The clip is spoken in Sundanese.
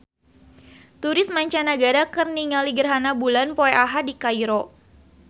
Turis mancanagara keur ningali gerhana bulan poe Ahad di Kairo